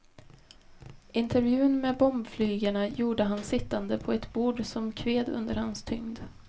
Intervjun med bombflygarna gjorde han sittande på ett bord som kved under hans tyngd.